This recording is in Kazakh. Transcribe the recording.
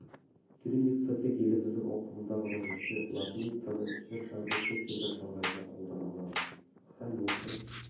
кириллица тек еліміздің ауқымында ғана жүрсе латиницаны жер шарының кез келген шалғайында қолдана аламыз һәм осы